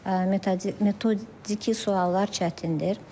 metodiki suallar çətindir.